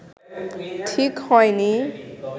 ঠিক হয়নি